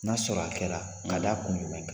N'a y'a sɔrɔ a kɛra ka da kun jumɛn kan?